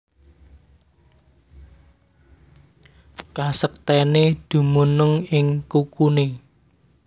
Kasektèné dumunung ing kukuné